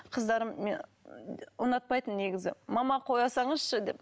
қыздарым ұнатпайтын негізі мама қоя салыңызшы деп